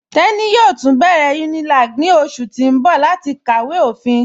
Teni yóò tun bẹ̀rẹ̀ Unilag ní ọṣù tì n bọ̀ láti kàwé ofín.